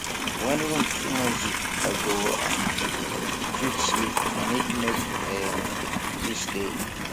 when room too noisy i go um fit sleep i need make um peace dey